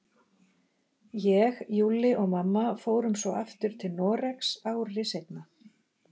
Ég, Júlli og mamma fórum svo aftur til Noregs, ári seinna.